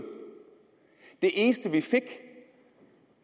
det eneste vi fik